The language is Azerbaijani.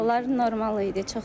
Suallar normal idi.